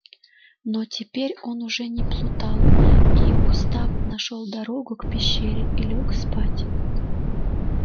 но теперь он уже не плутал и устав нашёл дорогу к пещере и лёг спать